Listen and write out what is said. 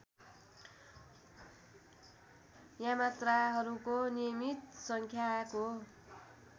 यामात्राहरूको नियमित सङ्ख्याको